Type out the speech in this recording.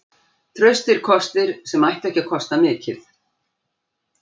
Traustir kostir sem ættu ekki að kosta mikið.